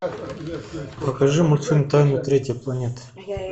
покажи мультфильм тайна третьей планеты